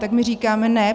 Tak my říkáme ne!